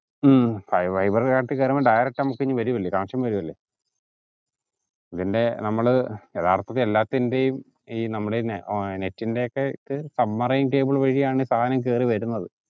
ഹും fiber ൻറെ കാര്യത്തിൽ വരുമ്പോ direct നമുക്കത് വരുവല്ലേ connection വരുവല്ലെ ഇതിന്റെ നമ്മൾ യഥാർത്ഥത്തിൽ എല്ലാത്തിന്റെയും ഈ നമ്മളെ net ന്റെയൊക്കെ submarine cable വഴിയാണ് സാധനം കേറി വരുന്നത്